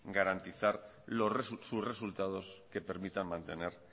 garantizar sus resultados que permitan mantener